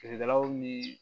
Feerekɛlaw ni